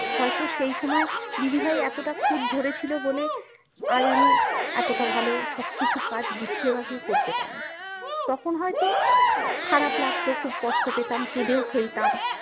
হয়তো সেই সময় দিদিভাই এতটা খুঁত ধরে ছিল বলে আজ আমি এতটা ভালো সব কিছু কাজ গুছিয়ে বাঁচিয়ে করতে পারি তখন হয়তো আহ খারাপ লাগতো কষ্ট পেতাম কেঁদেও ফেলতাম